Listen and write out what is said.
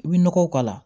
I bɛ nɔgɔw k'a la